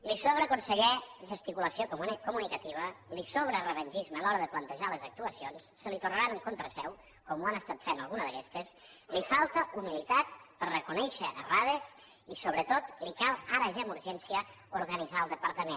li sobra conseller gesticulació comunicativa li sobra revengisme a l’hora de plantejar les actuacions se li tornaran en contra seu com ho ha estat fent alguna d’aquestes li falta humilitat per reconèixer errades i sobretot li cal ara ja amb urgència organitzar el departament